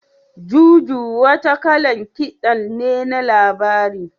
Juju wata kalan kiɗan ne na labari.